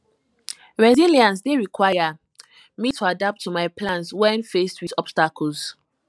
resilience dey require me to adapt my plans when faced with obstacles